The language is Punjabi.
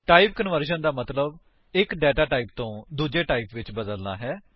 ਟਾਈਪ ਕਨਵਰਸ਼ਨ ਦਾ ਮਤਲੱਬ ਇੱਕ ਡੇਟਾ ਟਾਈਪ ਤੋਂ ਦੂੱਜੇ ਵਿੱਚ ਬਦਲਨਾ ਹੈ